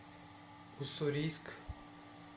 уссурийск